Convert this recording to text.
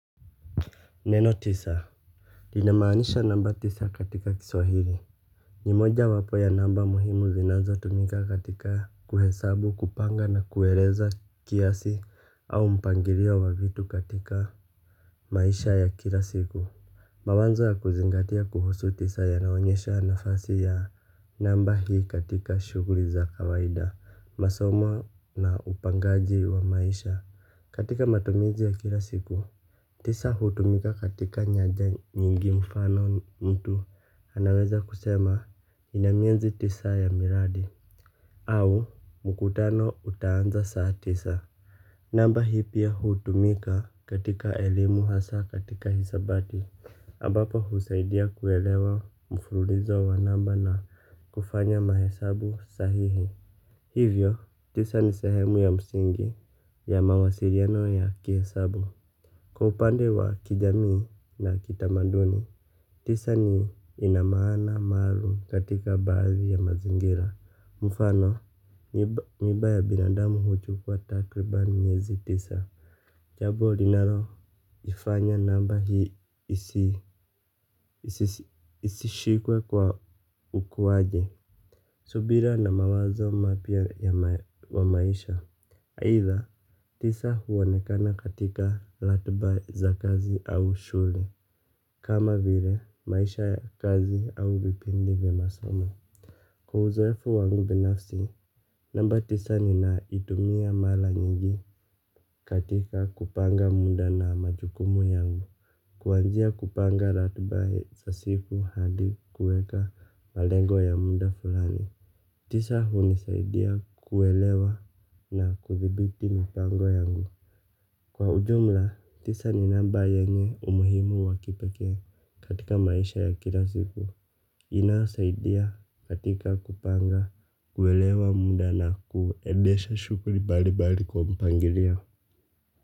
Neno tisa linamaanisha namba tisa katika kiswahili. Ni moja wapo ya namba muhimu zinazo tumika katika kuhesabu kupanga na kuereza kiasi au mpangilio wa vitu katika maisha ya kila siku. Mawazo ya kuzingatia kuhusu tisa ya naonyesha nafasi ya namba hii katika shughli za kawaida masomo na upangaji wa maisha katika matumizi ya kila siku. Tisa hutumika katika nyaja nyingi mfano mtu anaweza kusema ninamiezi tisa ya miradi au mkutano utaanza saa tisa. Namba hii pia hutumika katika elimu hasa katika hisabati ambapo husaidia kuelewa mfululizo wanamba na kufanya mahesabu sahihi. Hivyo tisa ni sehemu ya msingi ya mawasiliano ya kihesabu. Kwa upande wa kijamii na kitamaduni, tisa ni inamaana maalum katika baadhi ya mazingira. Mfano, mimba ya binadamu huchu kua takriban miezi tisa. Jambo, linaloifanya namba hii isishikwe kwa ukuwaje. Subira na mawazo mapia ya wa maisha. Aitha, tisa huonekana katika ratba za kazi au shule. Kama vile, maisha ya kazi au vipindi vya masomo. Kwa uzoefu wangu binafsi, namba tisa ni na itumia mara nyingi katika kupanga mda na majukumu yangu. Kuanzia kupanga ratba sa siku hadi kuweka malengo ya mda fulani. Tisa hunisaidia kuelewa na kuthibiti mipango yangu. Kwa ujumla, tisa ni namba yenye umuhimu wakipekee katika maisha ya kila siku. Inayosaidia katika kupanga, kuelewa muda na kuedesha shughli balibari kwa mpangilio.